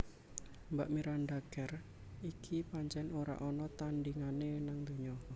Mbak Miranda Kerr iki pancen ora ana tandingane nang donya